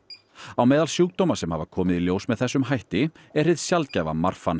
á meðal sjúkdóma sem hafa komið í ljós með þessum hætti er hið sjaldgæfa